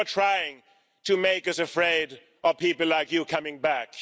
You are trying to make us afraid of people like you coming back.